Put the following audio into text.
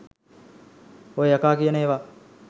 ඔය යකා කියන ඒවා